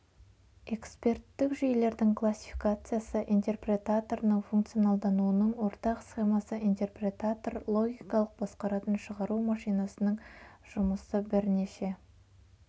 эксперттік жүйелердің классификациясы интерпретаторының функционалдануының ортақ схемасы интерпретатор логикалық басқаратын шығару машинасының жұмысы бірнеше